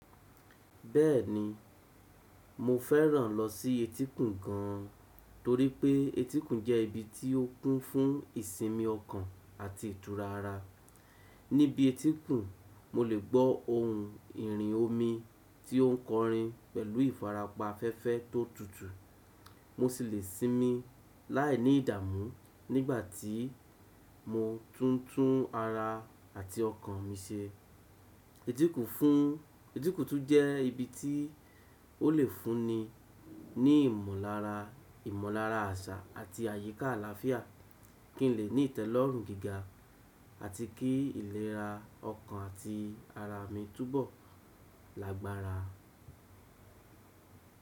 Bẹ́ẹ̀ni, mo fẹ́ràn lọ sí etíkun gan torí pé etíkun jẹ́ ibi tí ó kún fún ìsinmi ọkàn àti ìtura ara. Níbi etíkun, mo lè gbọ́ ohùn ìrìn omi tí ó ń kọrin pẹ̀lú ìfarapa afẹ́fẹ́ tó tutù. Mo sì lè sinmi láìní ìdààmú nígbàtí mo tún tún ara àti ọkàn mi se. Etíkun tún jẹ́ ibi tí ó lè fún ni ní ìmọ̀lára, ìmọ̀lára àṣà àti àyíká àlàáfíà kí n lè ní ìtẹ́lọ́rùn gíga àti kí ìlera ọkàn àti ara mi túbọ̀ lágbára.